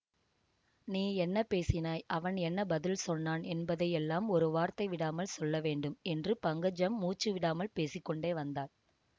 நீ என்ன பேசினாய் அவன் என்ன பதில் சொன்னான் என்பதையெல்லாம் ஒரு வார்த்தை விடாமல் சொல்ல வேண்டும் என்று பங்கஜம் மூச்சு விடாமல் பேசி கொண்டே வந்தாள்